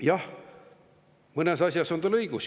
Jah, mõnes asjas on teil õigus.